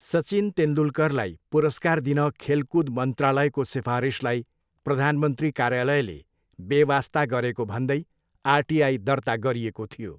सचिन तेन्दुलकरलाई पुरस्कार दिन खेलकुद मन्त्रालयको सिफारिसलाई प्रधानमन्त्री कार्यालयले बेवास्ता गरेको भन्दै आरटिआई दर्ता गरिएको थियो।